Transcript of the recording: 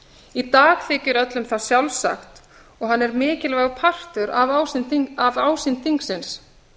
í dag þykir öllum það sjálfsagt og hann er mikilvægur partur af ásýnd þingsins